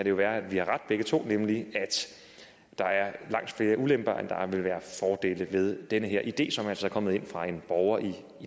jo være vi har ret begge to at der er langt flere ulemper end der vil være fordele ved den her idé som altså er kommet ind fra en borger i